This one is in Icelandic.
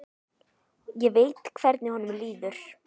Ég veit hvernig honum líður.